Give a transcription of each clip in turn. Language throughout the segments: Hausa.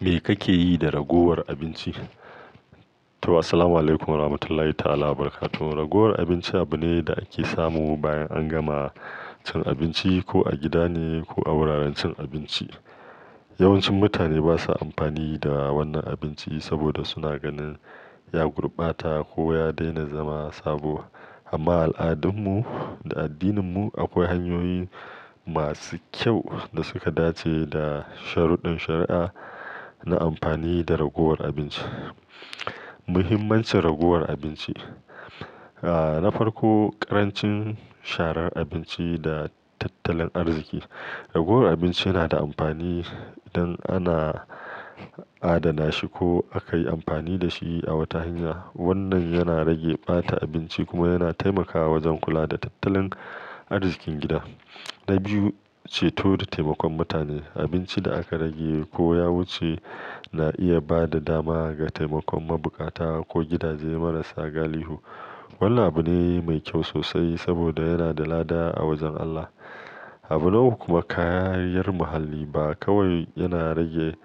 Me kake yi da ragowar abinci? To, assalamualaikum warahmatullahi ta'ala wabarakatuh. Ragowar abinci abu ne da ake samu bayan an gama cin abinci, ko a gida ne ko a wuraren cin abinci. Yawancin mutane basa amfani da wannan abinci saboda suna ganin ya gurbata ko ya daina zama sabo. Amma a al'adunmu da addininmu akwai hanyoyi masu kyau da suka dace da sharuɗɗen shari'a na amfani da ragowar abinci. Muhimmancin ragowar abinci. Ah, na farko, ƙarancin sharar abinci da tattalin arziki. Ragowar abinci yana da amfani idan ana adana shi ko aka yi amfani da shi a wata hanya. Wannan yana rage ɓata abinci kuma yana taimakawa wajen kula da tattalin arzikin gida. Na biyu, ceto da taimakon mutane. Abinci da aka rage ko ya wuce na iya ba da dama ga taimakon mabukata ko gidaje marasa galihu. Wannan abu ne mai kyau sosai saboda yana da lada a wajen Allah. Abu uku kuma kariyar muhalli ba kawai yana rage,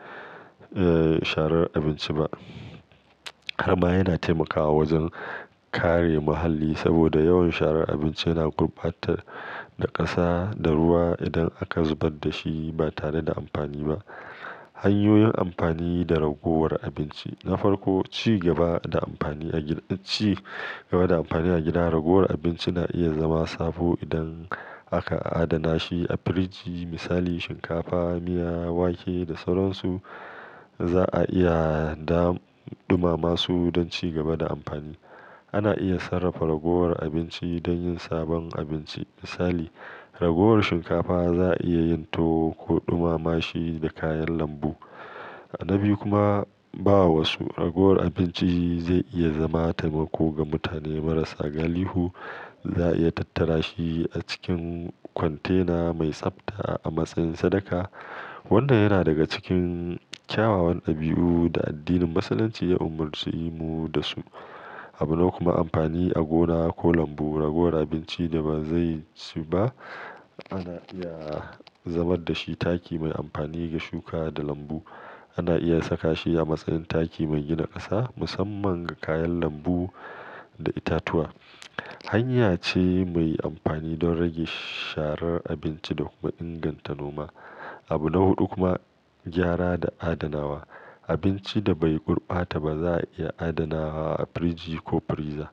eh, sharar abinci ba, har ma yana taimakawa wajen kare muhalli saboda yawan sharar abinci yana gurbata da ƙasa da ruwa. Idan aka zubar da shi ba tare da amfani ba. Hanyoyin amfani da ragowar abinci. Na farko, ci gaba da amfani a gida, ci gaba da amfani a gida. Ragowar abinci na iya zama sabo idan aka adana shi a firiji. Misali shinkafa, miya, wake da sauransu za'a iya dam-ɗumama su don ci gaba da amfani. Ana iya sarrafa ragowar abinci don yin sabon abinci. Misali, ragowar shinkafa za'a iya yin tuwo ko ɗumama shi da kayan lambu. Na biyu kuma, bawa su. Ragowar abinci zai iya zama taimako ga mutane marasa galihu. Za'a iya tattara shi a cikin kwantena mai tsafta a matsayin sadaka, wannan yana daga cikin kyawawan ɗabi'u da addinin Musulunci ya umarci mu da su. Abu nawa kuma amfani a gona ko lambu. Ragowar abinci da ba zai ci ba ana iya zamar da shi taki mai amfani ga shuka da lambu. Ana iya saka shi a matsayin taki mai gina ƙasa, musamman ga kayan lambu da itatuwa. Hanya ce mai amfani don rage sharar abinci da kuma inganta noma. Abu na hudu kuma, gyara da adanawa. Abinci da bai gurbata ba za'a iya adanawa a firiji ko friza.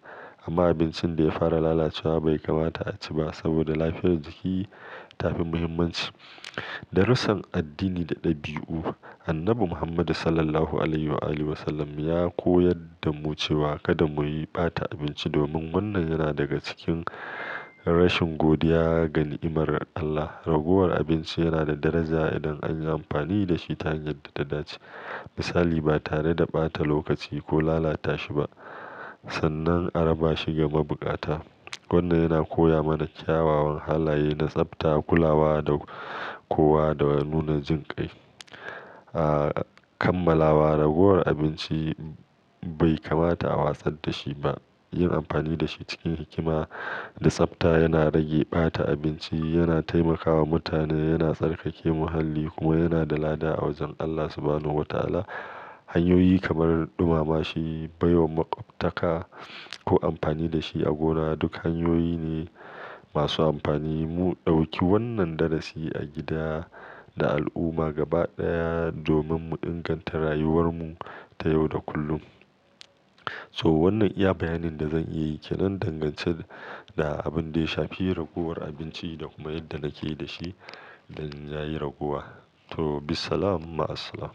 Amma abincin da ya fara lalacewa bai kamata a ci ba saboda lafiyar jiki ta fi muhimmanci. Darusan addini da ɗabi'u. Annabi Muhammad sallallahu alaihi wa alihi wasallam ya koyar da mu cewa kada mu yi ɓata abinci domin wannan yana daga cikin rashin godiya ga nimar Allah. Ragowar abinci yana da daraja idan an yi amfani da shi ta hanyar da ta dace. Misali, ba tare da ɓata lokaci ko lalata shi ba sannan a raba shi ga mabukata. Wannan yana koya mana kyawawan halaye na tsafta, kulawa da kowa da nuna jinƙai. Ah, kammalawa. Ragowar abinci bai kamata a wasar da shi ba. Yin amfani da shi cikin hikima da tsafta yana rage ɓata abinci, yana taimakawa mutane, yana tsarkake muhalli kuma yana da lada a wajen Allah subhanahu wa ta'ala. Hanyoyi kamar ɗumama shi, baiwa maƙwabtaka ko amfani da shi a gona duk hanyoyi ne masu amfani. Mu ɗauki wannan darasi a gida da al'umma gaba ɗaya domin mu inganta rayuwar mu ta yau da kullum. So, wannan iya bayanin da zan iya yi ke nan dangance da abin da ya shafi ragowar abinci da kuma yadda nake da shi idan ya yi ragowa. To, bisalam, ma as-salam.